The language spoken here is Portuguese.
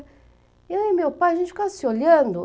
Eu e meu pai, a gente ficava se olhando.